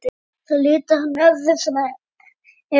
Það litar hann öðru fremur.